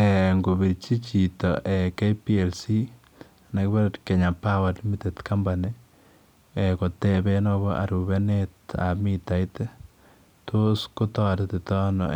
Eeh ingorpirchii chitoo KPLC anan kibore Kenya Power Lightning Company eeh kotebeen agobo arupeneet ab mitait ii ko tos kotaretii ta ano